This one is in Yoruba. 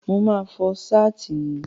Mo máa fọ Ṣáàtì yìí.